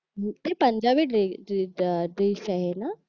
ते Punjabi dress dish आहे ना